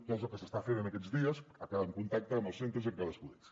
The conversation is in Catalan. que és el que s’està fent aquests dies en contacte amb els centres i amb cadascun d’ells